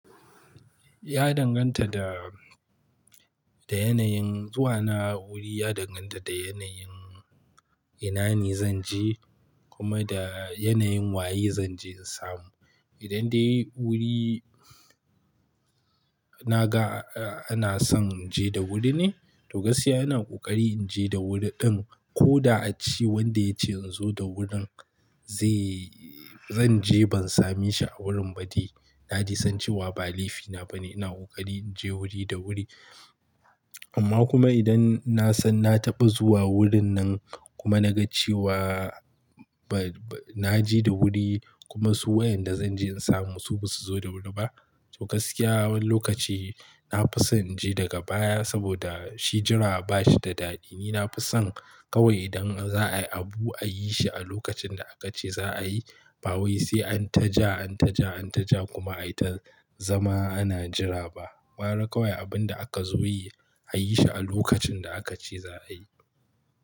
Ya danganta da, da yanayin zuwa na wuri ya danganta da yanayin inane zan je kuma da yanayin waye zan je in samu. Idan dai wuri na ga ana son in je da wuri ne, to gaskiya ina ƙoƙari in je da wuri ɗin ko da a ce wanda ya ce in zo da wurin zai-- zan je ban same shi a wurin ba dai. Ya dai san cewa ba laifina ba ne, ina ƙoƙari in je wuri da wuri. Amma kuma idan na san na taɓa zuwa wurin nan kuma na ga cewa ba, ba na je da wuri kuma su wayanda zan je in samu su ba su zo da wuri ba, to gaskiya wani lokaci na fi son in je daga baya saboda shi jira ba shi da daɗi. Ni na fi son kawai idan za a yi abu a yi shi a lokacin da aka ce za a yi. Ba wai sai an ta ja, an ta ja, an ta ja kuma ai ta zama ana jira ba. Ƙwara kawai abin da aka zo yi a yi shi a lokacin da aka ce za a yi.